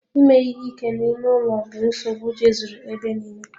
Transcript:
Ime ihe ike n'ime ụlọ bụ nsogbu jezuru ebe nille.